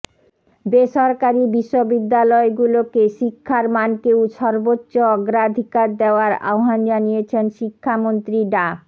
বেসরকারি বিশ্ববিদ্যালয়গুলোকে শিক্ষার মানকে সর্বোচ্চ অগ্রাধিকার দেয়ার আহ্বান জানিয়েছেন শিক্ষামন্ত্রী ডা